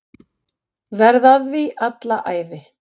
Verð að því alla ævi.